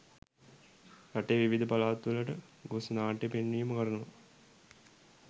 රටේ විවිධ පළාත්වලට ගොස් නාට්‍ය පෙන්වීම කරනවා.